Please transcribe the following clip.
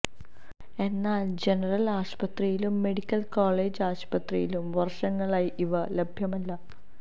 എന്നാല് ജനറല് ആശുപത്രിയിലും medical college ആശുപത്രിയിലും വര്ഷങ്ങളായി ഇവ ലഭ്യമല്ല